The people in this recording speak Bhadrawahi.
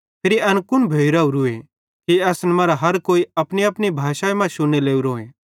फिरी एन कुन भोइ रावरूए कि असन मरां हर कोई अपनीअपनी भाषा शुन्ने लोरोए